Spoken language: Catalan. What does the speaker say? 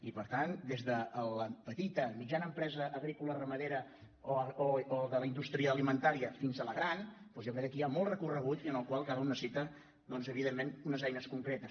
i per tant des de la petita mitjana empresa agrícola ramadera o de la indústria alimentària fins a la gran doncs jo crec que aquí hi ha molt recorregut i en el qual cadascú necessita evidentment unes eines concretes